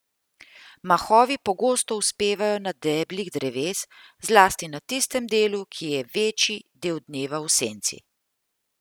Mahovi pogosto uspevajo na deblih dreves, zlasti na tistem delu, ki je večji del dneva v senci.